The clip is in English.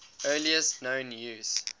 earliest known use